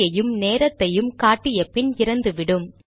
தேதியையும் நேரத்தையும் காட்டிய பின் இறந்துவிடும்